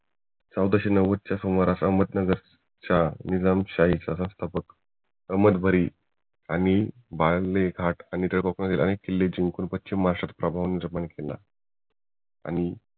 चौदाशे नव्वद च्या सुमारास अहमदनगर च्या निजामशाहीचा रस्ता अहमदभरी आणि घाट ह्याचबरोबर अनेक किल्ले जिंकून पश्चिम महाराष्ट्रात प्रभाव निर्माण केले